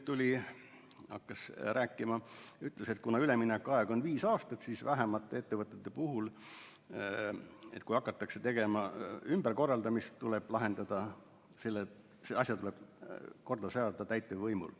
Tema ütles, et kuna üleminekuaeg on viis aastat, siis tuleb vähemate ettevõtete puhul, kui hakatakse tegema ümberkorraldamist, see asi lahendada ja korda seada täitevvõimul.